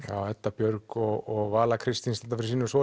Edda Björg og Vala Kristín standa fyrir sínu og svo